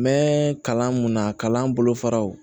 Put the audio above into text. N mɛ kalan mun na kalan bolo faraw